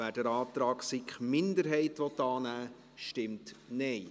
wer den Antrag SiK-Minderheit annehmen will, stimmt Nein.